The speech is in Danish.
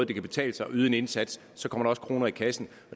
det kan betale sig at yde en indsats og så kommer der også kroner i kassen